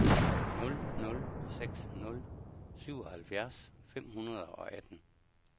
nul nul seks nul syvoghalvfjerds fem hundrede og atten